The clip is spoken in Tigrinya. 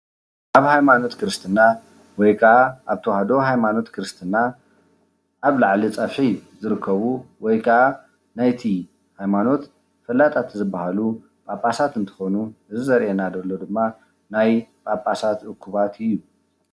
ኣብ ሃይማኖት ክርስትና ወይ ከዓ ኣብ ተወህዶ ሃይማኖት ክርስትና ኣብ ላዕሊ ፀፊሒ ዝርከቡ ወይ ከዓ ናይቲ ሃይማኖት ፈላጣት ዝባሃሉ ጳጳሳት እንትኮኑ እዙይ ዘርእየና ዘሎ ድማ ናይ ጳጳሳት እኩባት እዩ።